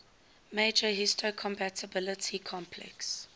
major histocompatibility complex